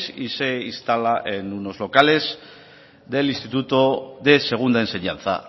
y se instala en unos locales del instituto de segunda enseñanza